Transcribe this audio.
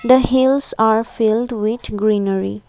the hills are filled with greenery.